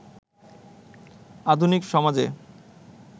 আধুনিক সমাজে